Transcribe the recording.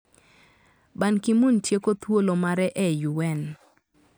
Ban Ki - moon tieko thuolo mare e UN.